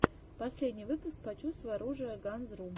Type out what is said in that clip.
последний выпуск почувствуй оружие ганзрум